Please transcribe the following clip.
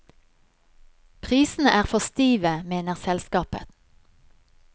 Prisene er for stive, mener selskapet.